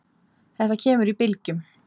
Þetta kemur í bylgjum.